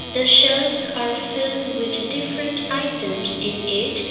the shelves are filled with different items in it.